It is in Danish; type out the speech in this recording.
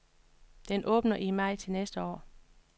Den åbner i maj til næste år.